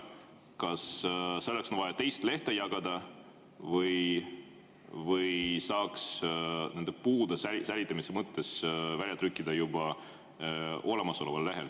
Kas selleks on vaja teist lehte või saaks puude säilitamise mõttes selle välja trükkida juba olemasoleval lehel?